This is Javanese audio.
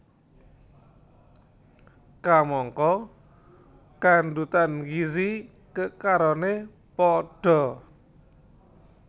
Kamangka kandhutan gizi kekaroné padha